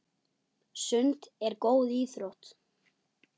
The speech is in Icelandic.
Sund er góð íþrótt.